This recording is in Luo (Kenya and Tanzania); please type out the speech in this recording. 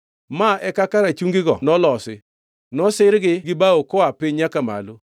Ma e kaka rachungigo nolosi: Nosirgi gi bao koa piny nyaka malo.